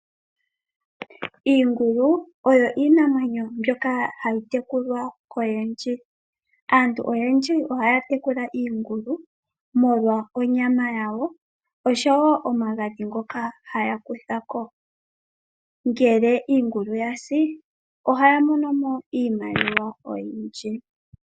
Iingulu oyo iinamwenyo mbyoka hayi tekulwa kaantu oyendji. Aantu oyendji ohaya tekula iingulu molwa onyama yawo oshowo omagadhi ngoka haya kutha ko. Ngele iingulu ya si ohaya mono mo iimaliwa oyindji.